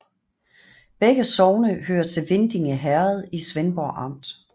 Begge sogne hørte til Vindinge Herred i Svendborg Amt